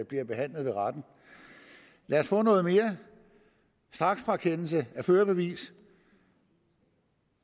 bliver behandlet ved retten lad os få noget mere straksfrakendelse af førerbevis